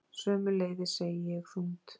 Sömuleiðis, segi ég þungt.